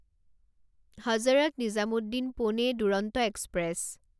Hazrat Nizamuddin Pune Duronto express